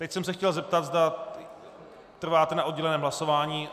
Teď jsem se chtěl zeptat, zda trváte na odděleném hlasování.